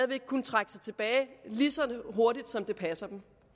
vil kunne trække sig tilbage lige så hurtigt som det passer dem